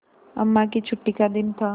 अम्मा की छुट्टी का दिन था